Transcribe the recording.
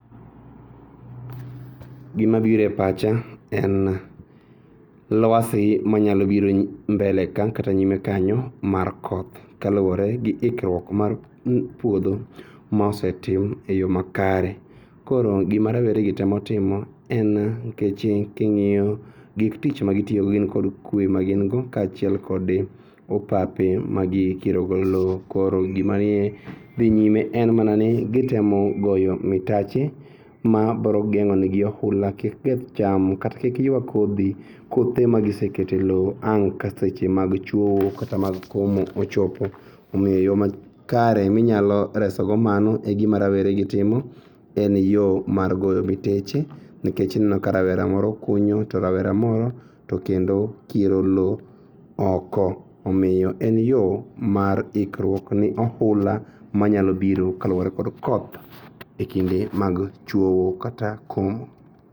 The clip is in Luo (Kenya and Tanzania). Gimabire pacha en luasi manyalobiro mbele ka kata nyime kanyo mar koth kaluore gi ikruok mar puodho mosetim e yoo makare koro gima rawere gi temo timo en kech king'iyo gik tich ma gitiyogo gin kod kue magingo kachiel kod opape magikirogo loo koro gima dhi nyime en mana ni gitemo goyo mitache ma brogeng'onegi oula kik keth cham kata kik yua kodhi. Kothe magisekete loo ang' ka seche mag chuo kata mag komo ochopo omiyo kare minyalo reso mano e gima raweregi timo. En yoo mar goyo miteche nikech ineno ka rawera moro kunyo to rawera moro tokendo kiro loo oko omiyo en yoo mar ikruok ni ohula manyalobiro kaluore kod koth e kinde mag chuowo kata kom.